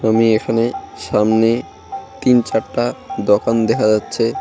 আমি এখানে সামনে তিন চারটা দকান দেখা যাচ্ছে।